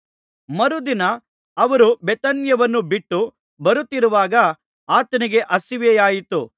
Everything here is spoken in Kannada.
ಮರುದಿನ ಅವರು ಬೇಥಾನ್ಯವನ್ನು ಬಿಟ್ಟು ಬರುತ್ತಿರುವಾಗ ಆತನಿಗೆ ಹಸಿವಾಯಿತು